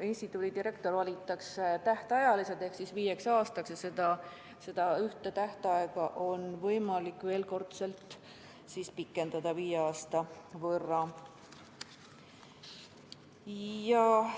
instituudi direktor valitakse tähtajaliselt ehk viieks aastaks, kusjuures seda tähtaega on võimalik ühel korral viie aasta võrra pikendada.